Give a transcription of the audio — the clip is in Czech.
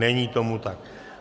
Není tomu tak.